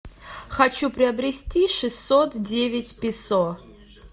хочу приобрести шестьсот девять песо